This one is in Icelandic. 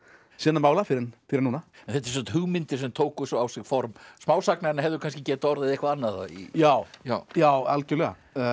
sinna mála fyrr en fyrr en núna þetta eru hugmyndir sem tóku svo á sig form smásagna en hefðu kannski getað orðið eitthvað annað já já já algjörlega